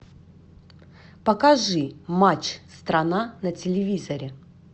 покажи матч страна на телевизоре